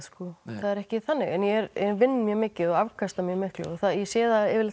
það er ekki þannig en ég vinn mjög mikið og afkasta mjög miklu og ég sé það yfirleitt